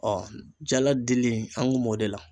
jala dili an kun m'o de la.